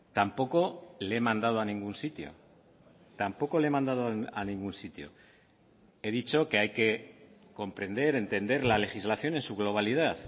tampoco le he mandado a ningún sitio tampoco le he mandado a ningún sitio he dicho que hay que comprender entender la legislación en su globalidad